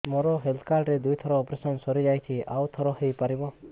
ମୋର health card ରେ ଦୁଇ ଥର ଅପେରସନ ସାରି ଯାଇଛି ଆଉ ଥର ହେଇପାରିବ